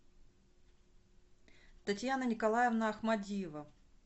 татьяна николаевна ахмадиева